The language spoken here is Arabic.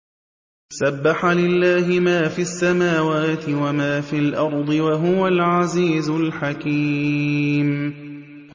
سَبَّحَ لِلَّهِ مَا فِي السَّمَاوَاتِ وَمَا فِي الْأَرْضِ ۖ وَهُوَ الْعَزِيزُ الْحَكِيمُ